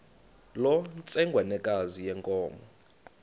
loo ntsengwanekazi yenkomo